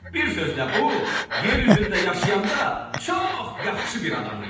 Bir sözlə bu yer üzündə yaşayanda çox yaxşı bir adam idi.